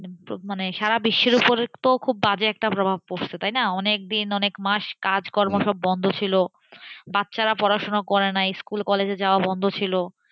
মানে সারা বিশ্বের উপর একটা বাজে প্রভাব পড়ছেতাই না? অনেকদিন, অনেক মাস কাজকর্ম সব বন্ধ ছিলবাচ্চারা পড়াশোনা করেনি স্কুল-কলেজ যাওয়া বন্ধ ছিল,